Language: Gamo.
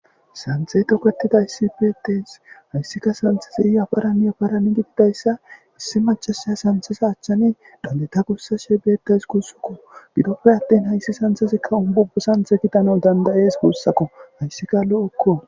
Santhe toketida issi pites hayssika santhesi iyafaranyaparani gididayssa issi macasha santhesa achchani dandeta gussa she beetes kuussukko gidoppe attin hayssi santhazekka umbubo santhe kitana dandayes kuussakko hayssi kaallo okko.